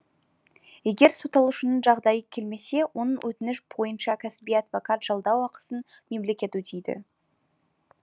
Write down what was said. егер сотталушының жағдайы келмесе оның өтініші бойынша кәсіби адвокат жалдау ақысын мемлекет өтейді